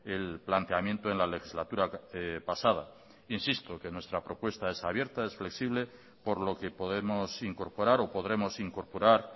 el planteamiento en la legislatura pasada insisto que nuestra propuesta es abierta es flexible por lo que podemos incorporar o podremos incorporar